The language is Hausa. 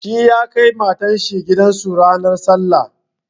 Shi ya kai matar shi gidan su ranar sallah.